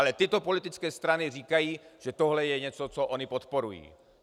Ale tyto politické strany říkají, že tohle je něco, co ony podporují.